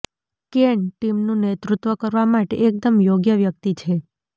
can ટીમનું નેતૃત્વ કરવા માટે એકમદ યોગ્ય વ્યક્તિ છે